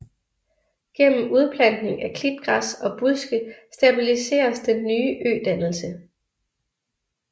Gennem udplantning af klitgræs og buske stabiliseres den nye ødannelse